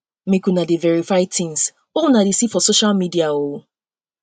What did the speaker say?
make una dey verify tins wey una dey see for dey see for social media o